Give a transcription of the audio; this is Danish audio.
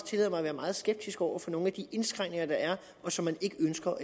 tillade mig at være meget skeptisk over for nogle af de indskrænkninger der er og som man ikke ønsker